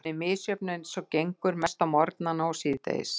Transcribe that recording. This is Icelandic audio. Hún er misjöfn eins og gengur, mest á morgnana og síðdegis.